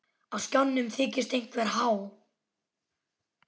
Á skjánum þykist einhver há